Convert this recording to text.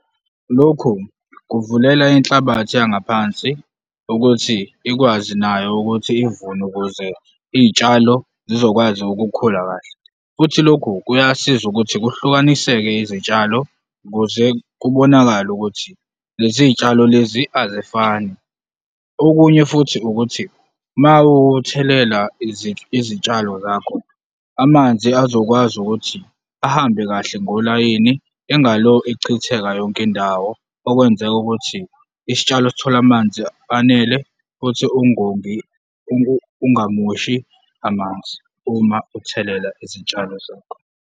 Lokhu kuvulela inhlabathi yangaphansi ukuthi ikwazi nayo ukuthi ivune ukuze izitshalo zizokwazi ukukhula kahle futhi lokhu kuyasiza ukuthi kuhlukaniseke izitshalo ukuze kubonakale ukuthi lezi zitshalo lezi azifani. Okunye futhi ukuthi mawuthelela izitshalo zakho, amanzi azokwazi ukuthi ahambe kahle ngolayini, engalo echitheka yonke indawo okwenzeka ukuthi isitshalo sithole amanzi anele futhi ungongi, ungamoshi amanzi uma uthelela izitshalo zakho.